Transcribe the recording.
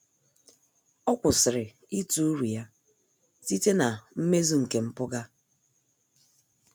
Ọ́ kwụ́sị̀rị̀ ítụ́ uru ya site na mmezu nke mpụga.